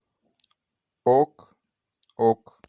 ок ок